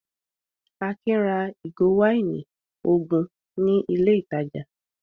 Akin ra ìgò wáìnì ogun ní ilé-ìtajà?